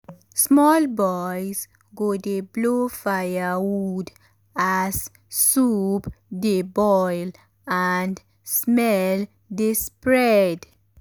small boys go dey blow firewood as soup dey boil and smell dey spread.